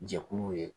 Jɛkulu ye